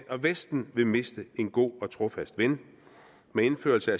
og vesten vil miste en god og trofast ven med indførelse